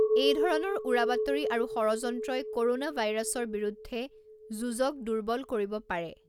এইধৰণৰ উৰা বাতৰি আৰু ষড়যন্ত্ৰই ক’ৰোনা ভাইৰাছৰ বিৰুদ্ধে যুঁজক দূৰ্বল কৰিব পাৰে।